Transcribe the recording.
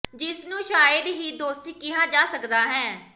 ਜਿਸ ਨੂੰ ਸ਼ਾਇਦ ਹੀ ਦੋਸਤੀ ਕਿਹਾ ਜਾ ਸਕਦਾ ਹੈ